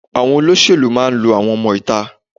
Àwọn olóṣèlú máa ń lo àwọn ọmọ ìta.